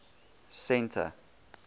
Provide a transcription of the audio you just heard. centre